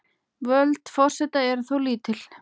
Völd forseta eru þó lítil.